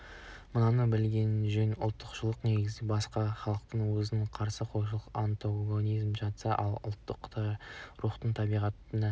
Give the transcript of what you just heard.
мынаны білген жөн ұлтшылдықтың негізінде басқа халықтарға өзін қарсы қоюшылық амтогонизм жатса ал ұлттық рухтың табиғатына